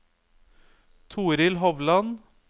Toril Hovland